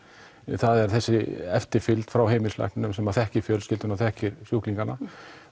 það er þessi eftirfylgd frá heimilislækninum sem þekkir fjölskylduna og þekkir sjúklingana